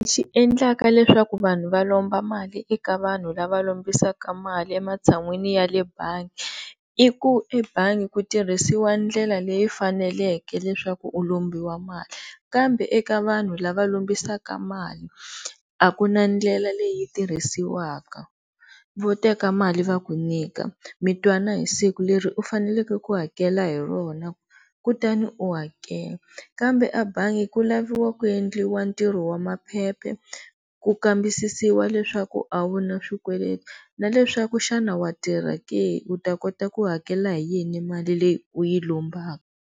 Lexi endlaka leswaku vanhu va lomba mali eka vanhu lava lombisaka mali ematshan'wini ya le bangi i ku ebangi ku tirhisiwa ndlela leyi faneleke leswaku u lombiwa mali kambe eka vanhu lava lombisaka mali a ku na ndlela leyi tirhisiwaka, vo teka mali va ku nyika mi twana hi siku leri u faneleke ku hakela hi rona kutani u hakela kambe a bangi ku laviwa ku endliwa ntirho wa maphephe ku kambisisiwaka leswaku a wu na swikweleti na leswaku xana wa tirha ke u ta kota ku hakela hi yini mali leyi u yi lombaka.